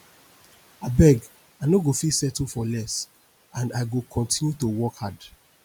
abeg i no go fit settle for less and i go continue to work hard